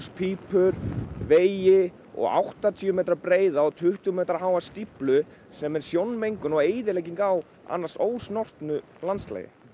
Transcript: pípur vegi og áttatíu metra breiða og tuttugu metra háa stíflu sem er sjónmengun og eyðilegging á annars ósnortnu landslagi